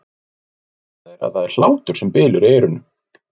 Loks greina þeir að það er hlátur sem bylur í eyrunum.